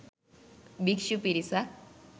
භික්ෂු පිරිසක්